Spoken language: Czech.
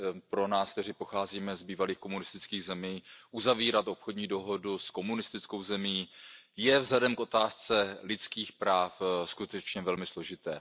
Pro nás, kteří pocházíme z bývalých komunistických zemí, uzavírat obchodní dohodu s komunistickou zemí je vzhledem k otázce lidských práv skutečně velmi složité.